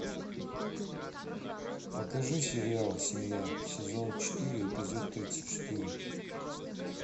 покажи сериал семья сезон четыре эпизод тридцать четыре